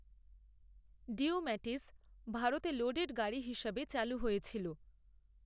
Daewoo Matiz ভারতে loaded গাড়ি হিসাবে চালু হয়েছিল।